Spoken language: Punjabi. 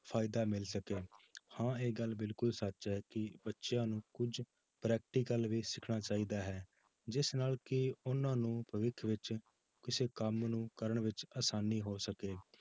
ਫ਼ਾਇਦਾ ਮਿਲ ਸਕੇ ਹਾਂ ਇਹ ਗੱਲ ਬਿਲਕੁਲ ਸੱਚ ਹੈ ਕਿ ਬੱਚਿਆਂ ਨੂੰ ਕੁੱਝ practical ਵੀ ਸਿੱਖਣਾ ਚਾਹੀਦਾ ਹੈ ਜਿਸ ਨਾਲ ਕਿ ਉਹਨਾਂ ਨੂੰ ਭਵਿੱਖ ਵਿੱਚ ਕਿਸੇ ਕੰਮ ਨੂੰ ਕਰਨ ਵਿੱਚ ਆਸਾਨੀ ਹੋ ਸਕੇ